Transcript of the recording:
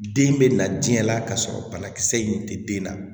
Den bɛ na diɲɛ la ka sɔrɔ banakisɛ in tɛ den na